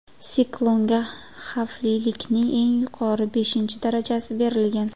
Siklonga xavflilikning eng yuqori, beshinchi darajasi berilgan.